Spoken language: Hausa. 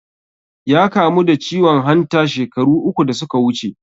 Ya kamu da ciwon hanta shekaru uku da suka wuce